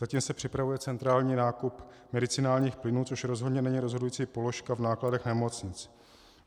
Zatím se připravuje centrální nákup medicinálních plynů, což rozhodně není rozhodující položka v nákladech nemocnic.